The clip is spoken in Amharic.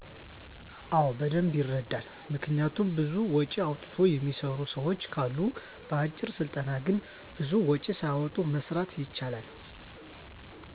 አወ በደንብ ይረዳል። ምክንያቱም ብዙ ወጭ አውጥቶ የሚሰሩ ስራወች ካሉ በአጭር ስልጠና ግን ብዙም ወጭ ሳያወጡ መስራት ይቻላል።